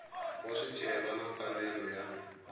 wa swicelwa na mfanelo ya